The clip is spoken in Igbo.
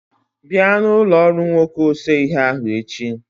Bịa na ụlọ ọrụ nwoke ose ihe ahụ echi.